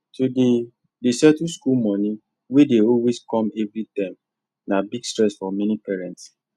to dey dey settle school money wey dey always come every term na big stress for many parents